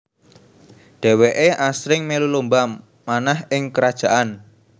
Dheweke asring melu lomba manah ing kerajaan